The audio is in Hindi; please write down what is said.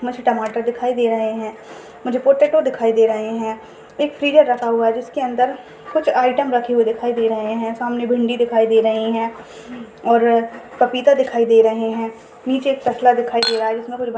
मस्त टमाटर दिखाई दे रहे है मुझे पोटेटो दिखाई दे रहे है एक फ्रीजर रखा हुआ है जिसके अंदर कुछ आयटम रखे हुए दिखाई दे रहे है सामने भिंडी दिखाई दे रही है और पपीता दिखाई दे रहे है निचे एक तसला दिखाई दे रहा है जिसने कुछ भरा--